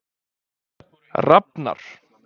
Rafnar